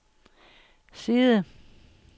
side